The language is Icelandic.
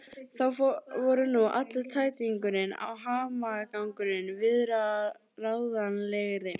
Þá voru nú allur tætingurinn og hamagangurinn viðráðanlegri.